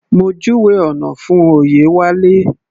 Mo júwèé ọ̀nà fún Oyewale.